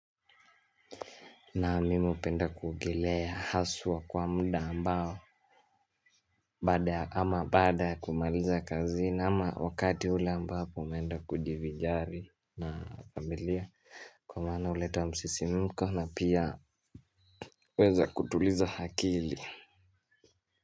Na mimi hupenda kuogelea haswa kwa muda ambao baada ama baada ya kumaliza kazi ama wakati ule ambapo umeenda kujivijari na familia, kwa maana huleta msisimko na pia huweza kutuliza akili.